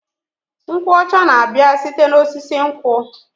Nkwụ ọcha na-abịa site n'osisi nkwụ.